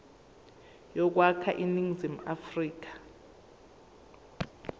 yokwakha iningizimu afrika